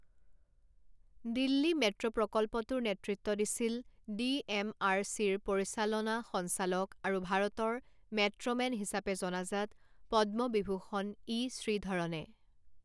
Delhi metro প্ৰকল্পটোৰ নেতৃত্ব দিছিল ডি এম আৰ চিৰ পৰিচালনা সঞ্চালক আৰু ভাৰতৰ মেট্ৰ' মেন হিচাপে জনাজাত পদ্ম বিভূষণ ই শ্ৰীধৰণে।